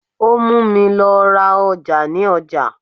Ó múmi lọ ra ọjà ní ọjà.